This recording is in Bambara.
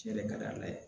Tiɲɛ de ka di ala ye